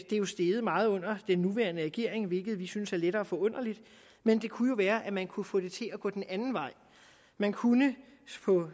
det er steget meget under den nuværende regering hvilket vi synes er lettere forunderligt men det kunne jo være at man kunne få det til at gå den anden vej man kunne